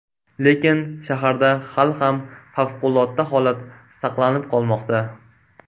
Lekin shaharda hali ham favqulodda holat saqlanib qolmoqda.